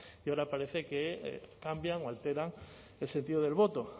y ahora parece que cambian o alteran el sentido del voto